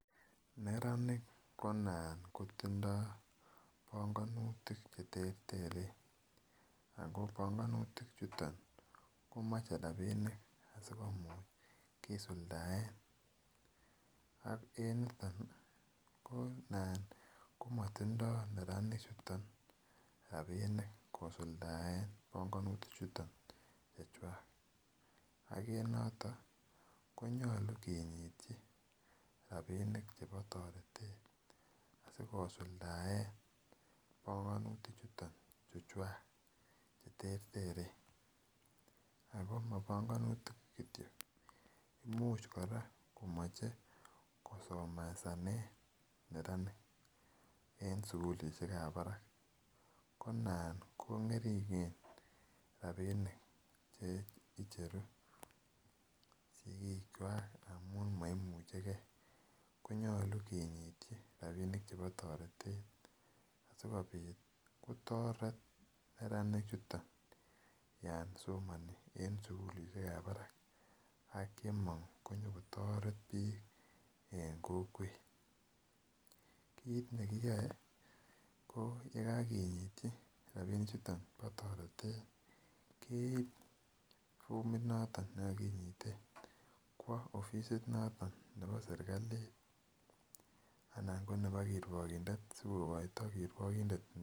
Neranik konaat kotindon pongonutik cheterteren ako pongonutik chuton ko moche rabinik sikomuch kisuldaen ak en niton nii ko nan komotindo neranik chuton rabinik kisuldaen pongonutik chuton chechwak. Okere noton konyolu kinyityi rabinik chebo toretet asikosuldaen bongonutik chuton chuvhwak cheterteren ako mobongonutik kityok much Koraa komoche kosomesanen nearanik en sukulishekab barak ko nan kongeringen rabinik che icheruu sikik kwak amun moimuchegee konyolu kinyityi rabinik chebo toretet asikopit kotoret neranik chuton yon somoni en sukulishekab barak ak yemong konyokotoreti bik en kokwet. Kit nekiyoe ko yekokinyii rabinik chuton kotoreten koib formit noton ne ko kinyite kowoo ofisit noton nebo sirkalit anan ko nebo kiruogindet sikokoito kiruogindet ne.